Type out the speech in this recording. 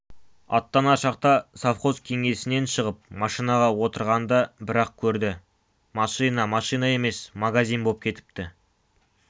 аттанар шақта совхоз кеңсесінен шығып машинаға отырғанда бір-ақ көрді машина машина емес магазин боп кетіпті